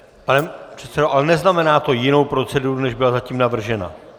Pane předsedo, ale neznamená to jinou proceduru, než byla zatím navržena?